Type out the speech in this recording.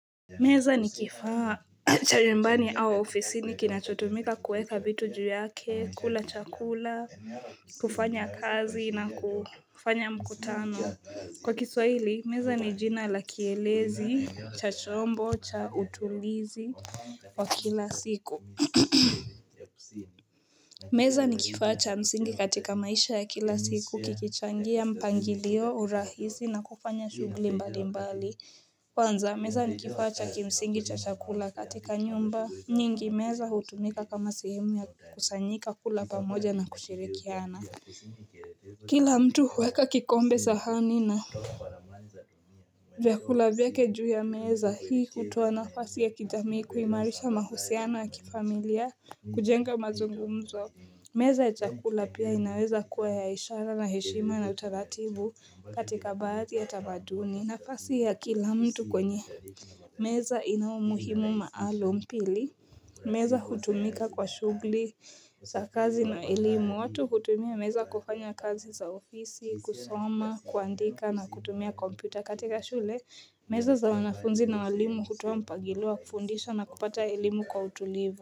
Meza ni kifaa cha nyumbani au ofisini kinachotumika kuweka vitu juu yake kula chakula kufanya kazi na kufanya mkutano kwa kiswahili meza ni jina la kielezi cha chombo cha utulizi wa kila siku meza ni kifaa cha msingi katika maisha ya kila siku kikichangia mpangilio urahisi na kufanya shugli mbali mbali kwanza meza ni kifaa cha kimsingi cha chakula katika nyumba nyingi meza hutumika kama sehemu ya kukusanyika kula pamoja na kushirikiana Kila mtu huweka kikombe sahani na vyakula vyake juu ya meza hii hutoa nafasi ya kijamii kuimarisha mahusiano ya kifamilia kujenga mazungumzo meza ya chakula pia inaweza kuwa ya ishara na heshima na utaratibu katika baadhi ya tamaduni nafasi ya kila mtu kwenye meza inaumuhimu maalum pili. Meza hutumika kwa shugli za kazi na elimu. Watu hutumia meza kufanya kazi za ofisi, kusoma, kuandika na kutumia kompyuta katika shule. Meza za wanafunzi na walimu hutoa mpagilio wa kufundisha na kupata elimu kwa utulivo.